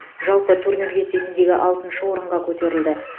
жалпы турнир кестесінде алтыншы орынға көтерілді